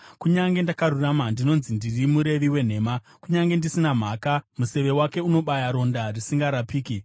Kunyange ndakarurama, ndinonzi ndiri murevi wenhema; kunyange ndisina mhaka, museve wake unobaya ronda risingarapiki.’